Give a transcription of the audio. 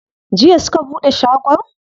Jiya suka buɗe shagon?